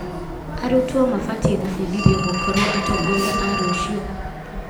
Arutwo mabatiĩ gũbundithio gũkorwo atongoria a rũciũ.